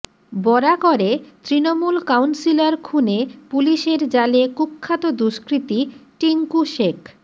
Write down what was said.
বরাকরে Trinamool councillor খুনে পুলিশের জালে কুখ্যাত দুষ্কৃতী টিঙ্কু শেখ